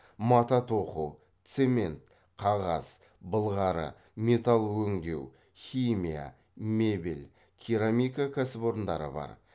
мата тоқу цемент қағаз былғары металл өңдеу химия мебель керамика кәсіпорындары бар